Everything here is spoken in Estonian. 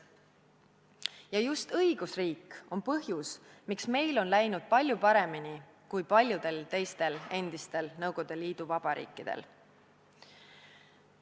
Ja just õigusriik on põhjus, miks meil on läinud palju paremini kui paljudel teistel endistel Nõukogude Liidu vabariikidel.